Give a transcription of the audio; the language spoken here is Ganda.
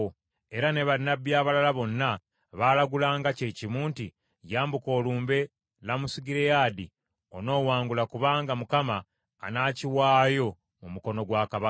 Era ne bannabbi abalala bonna baalagulanga kye kimu nti, “Yambuka olumbe Lamosugireyaadi onoowangula kubanga Mukama anaakiwaayo mu mukono gwa kabaka.”